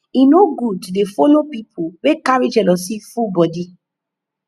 e no good to dey folo pipu wey carry jealousy full for bodi